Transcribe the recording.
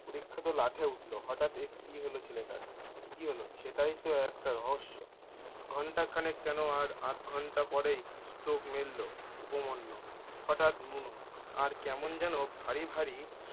পরীক্ষা তো লাঠে উঠলো হঠাৎ এ কি হলো ছেলেটার! কি হলো সেটাই তো একটা রহস্য! ঘণ্টা খানেক কেনো আর আধঘণ্টা পরেই চোখ মেলল, উপমান্য হঠাৎ আর কেমন যেন ভারী ভারী-